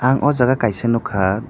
ang aw jaaga kaisa nugkha.